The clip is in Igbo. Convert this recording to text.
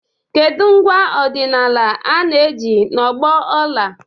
Kedu ngwa ọdịnala a na-eji n'ọgbọ ọla?